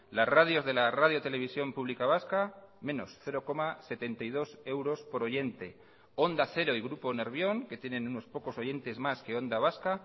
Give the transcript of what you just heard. las radios de la radio televisión pública vasca menos cero coma setenta y dos euros por oyente onda cero y grupo nervión que tienen unos pocos oyentes más que onda vasca